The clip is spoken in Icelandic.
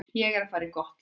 Ég er að fara í gott lið.